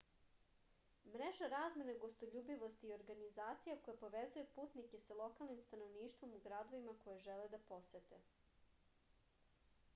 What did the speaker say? mreža razmene gostoljubivosti je organizacija koja povezuje putnike sa lokalnim stanovništvom u gradovima koje žele da posete